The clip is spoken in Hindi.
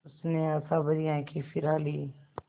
उसने आशाभरी आँखें फिरा लीं